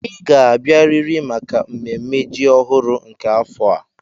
Ị ga-abịarịrị maka mmemme ji ọhụrụ nke afọ a.